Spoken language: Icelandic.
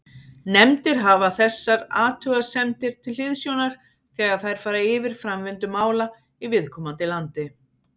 Nefndir hafa þessar athugasemdir til hliðsjónar þegar þær fara yfir framvindu mála í viðkomandi landi.